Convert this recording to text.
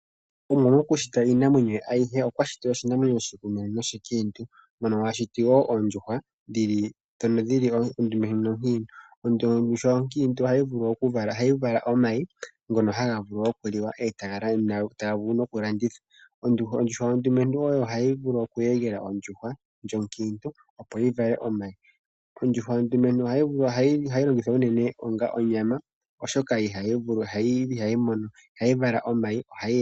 Omuwa mokushita iinamwenyo ye ayihe okwa shiti oshinamwenyo oshilumentu noshiikiintu mono a shiti wo oondjuhwa ndhono dhi li ondumentu nonkiintu. Ondjuhwa onkiintu ohayi vulu okuvala omayi ngono haga vulu okuliwa, taga vulu nokulandithwa. Ondjuhwa ondumentu oyo hayi vulu okweegela ondjuhwa onkiintu, opo yi vale omayi. Ondjuhwa ondumentu ohayi longithwa unene onga onyama, oshoka ihayi vala omayi.